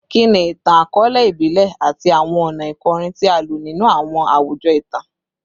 Kini itan-akọọlẹ ibile ati awọn ọna ikorin ti a lo ninu awọn awujọ itan?